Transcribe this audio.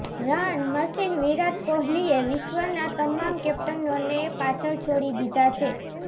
run machine Virat કોહલીએ વિશ્વના તમામ કેપ્ટનોને પાછળ છોડી દીધા છે